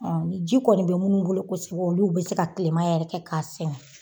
ni ji kɔni bɛ minnu bolo kosɛbɛ olu bɛ se ka tilema yɛrɛ kɛ k'a sɛnɛ.